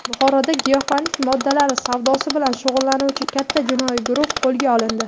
Buxoroda giyohvandlik moddalar savdosi bilan shug‘ullanuvchi katta jinoiy guruh qo‘lga olindi.